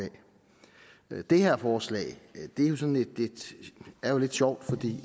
af det her forslag er jo lidt sjovt